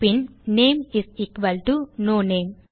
bin name is equal to no name